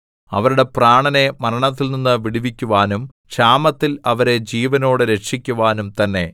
അവരുടെ പ്രാണനെ മരണത്തിൽനിന്ന് വിടുവിക്കുവാനും ക്ഷാമത്തിൽ അവരെ ജീവനോടെ രക്ഷിക്കുവാനും തന്നെ